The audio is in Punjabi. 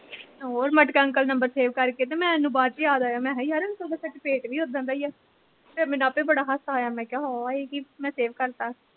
ਤੇ ਹੋਰ ਮਟਕਾ ਅੰਕਲ number save ਕਰਕੇ ਤੇ ਮੈਨੂੰ ਬਾਦ ਚ ਯਾਦ ਆਇਆ ਮੈਂ ਕਿਹਾਂ ਯਾਰ ਇੱਕ ਸਾਡੇ ਪਿੰਡ ਵੀ ਏਦਾਂ ਦੇ ਈ ਆ ਫੇਰ ਮੈਨੂੰ ਆਪੇ ਬੜਾ ਹਾਸਾ ਆਇਆ ਮੈਂ ਕਿਹਾਂ ਹਾਂਆ ਏਹ ਕੀ ਮੈਂ save ਕਰਤਾ